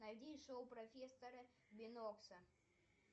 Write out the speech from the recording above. найди шоу профессора бинокса